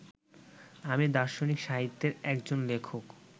আমি দার্শনিক সাহিত্যের একজন লেখক